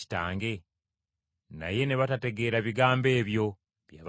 Naye ne batategeera bigambo ebyo bye yabagamba.